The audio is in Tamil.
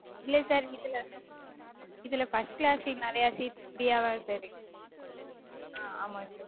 இல்ல sir இதுல இதுல first class seat நெறைய seats free -யாதா இருக்கு